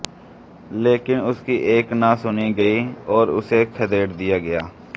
लेकिन उसकी एक न सुनी गई और उसे खदेड़ दिया गया